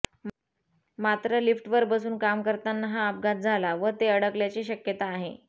मात्र लिफ्टवर बसून काम करताना हा अपघात झाला व ते अडकल्याची शक्यता आहे